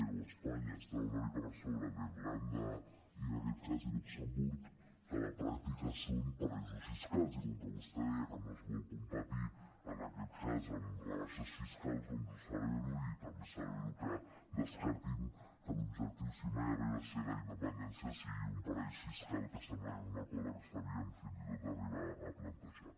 o espanya està una mica per sobre d’irlanda i en aquest cas luxemburg que a la pràctica són paradisos fiscals i com que vostè deia que no es vol competir en aquest cas amb rebaixes fiscals doncs ho celebro i també celebro que descartin que l’objectiu si mai arriba a ser la independència sigui un paradís fiscal que sembla que és una cosa que s’havien fins i tot arribat a plantejar